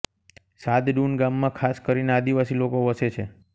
સાદડુન ગામમાં ખાસ કરીને આદિવાસી લોકો વસે છે